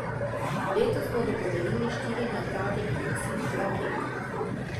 Letos bodo podelili štiri nagrade in deset plaket.